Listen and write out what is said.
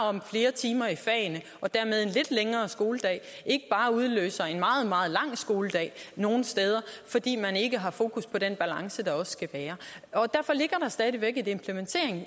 om flere timer i fagene og dermed en lidt længere skoledag ikke bare udløser en meget meget lang skoledag nogle steder fordi man ikke har fokus på den balance der også skal være derfor ligger der stadig væk